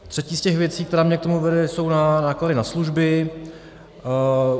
Třetí z těch věcí, která mě k tomu vede, jsou náklady na služby.